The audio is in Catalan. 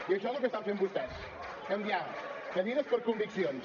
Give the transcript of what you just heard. i això és el que estan fent vostès canviar cadires per conviccions